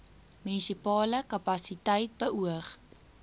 munisipale kapasiteit beoog